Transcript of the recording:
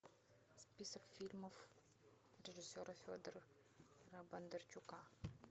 список фильмов режиссера федора бондарчука